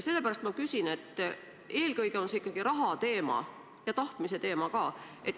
Eelkõige see on ikkagi raha teema ja tahtmise teema ka.